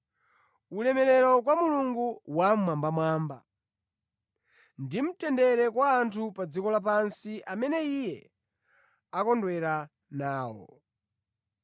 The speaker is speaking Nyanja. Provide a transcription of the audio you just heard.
“Ulemerero kwa Mulungu mmwambamwamba, ndi mtendere kwa anthu pa dziko lapansi amene Iye akondwera nawo.”